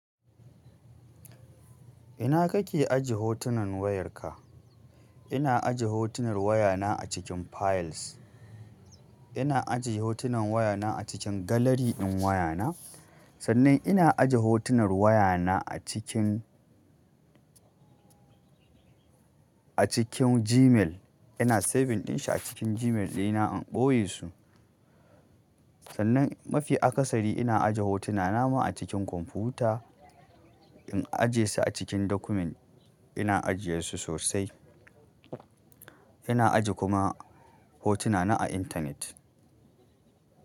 Ina kake aje hotunan wayarka? Ina aje hotunan wayana a cikin files. Ina aje hotunan wayana a cikin gallery ɗin wayana. Sannan ina aje hotunan wayana a cikin, a cikin Gmail. Ina saving ɗin shi a cikin Gmail ɗina, in ɓoye su sannan, mafi akasari ina ajiye hotuna na ne a cikin komfuta in aje su a cikin document, ina ajiye su sosai. Ina aje kuma hotuna na a internet.